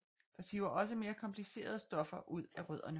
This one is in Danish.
Der siver også mere komplicerede stoffer ud af rødderne